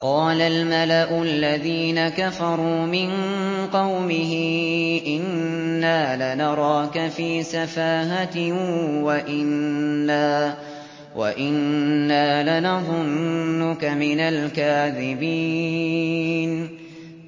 قَالَ الْمَلَأُ الَّذِينَ كَفَرُوا مِن قَوْمِهِ إِنَّا لَنَرَاكَ فِي سَفَاهَةٍ وَإِنَّا لَنَظُنُّكَ مِنَ الْكَاذِبِينَ